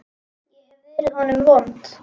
Ég hef verið honum vond.